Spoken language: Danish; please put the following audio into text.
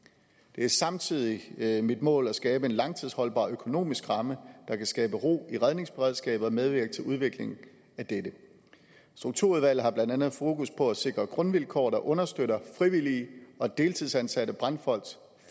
det er samtidig mit mål at skabe en langtidsholdbar økonomisk ramme der kan skabe ro i redningsberedskabet og medvirke til udvikling af dette strukturudvalget har blandt andet fokus på at sikre grundvilkår der understøtter frivillige og deltidsansatte brandfolks